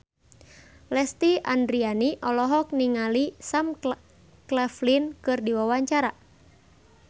Lesti Andryani olohok ningali Sam Claflin keur diwawancara